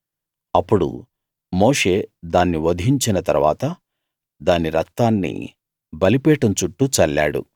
అప్పుడు మోషే దాన్ని వధించిన తరువాత దాని రక్తాన్ని బలిపీఠం చుట్టూ చల్లాడు